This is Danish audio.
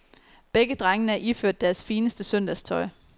Begge drengene er iført deres fineste søndagstøj.